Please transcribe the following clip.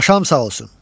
Paşam sağ olsun.